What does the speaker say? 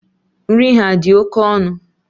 Nri ha adị oké ọnụ?